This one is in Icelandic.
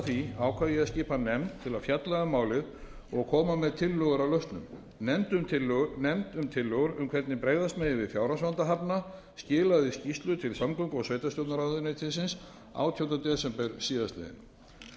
því ákvað ég að skipa nefnd til að fjalla um málið og koma með tillögur að lausnum nefnd um tillögur um hvernig bregðast megi við fjárhagsvanda hafna skilaði skýrslu til samgöngu og sveitarstjórnarráðuneytisins átjánda desember síðastliðnum